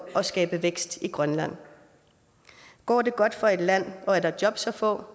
at skabe vækst i grønland går det godt for et land og er der jobs at få